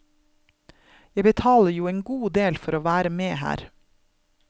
Jeg betaler jo en god del for å være med her.